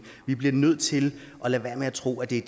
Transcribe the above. vi bliver nødt til at lade være med at tro at det er